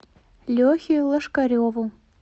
лехе лошкареву